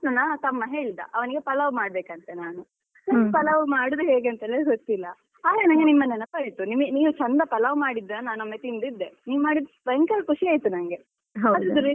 ನನ್ನ ತಮ್ಮ ಹೇಳಿದ ಅವನಿಗೆ ಪಲಾವ್ ಮಾಡ್ಬೇಕಂತೆ ನಾನು ಪಲಾವ್ ಮಾಡುದು ಹೇಗೆ ಅಂತಲೇ ಗೊತ್ತಿಲ್ಲ ಆಗ ನಂಗೆ ನಿಮ್ಮ ನೆನಪಾಯ್ತು ನಿಮಿ~ ನೀವು ಚಂದ ಪಲಾವ್ ಮಾಡಿದ್ದ ನಾನ್ ಒಮ್ಮೆ ತಿಂದಿದ್ದೆ ನೀವ್ ಮಾಡಿದ್ ಭಯಂಕರ ಖುಷಿ ಆಯ್ತು ನಂಗೆ .